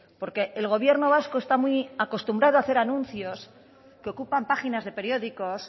porque el gobierno vasco está muy acostumbrado a hacer anuncios que ocupan páginas de periódicos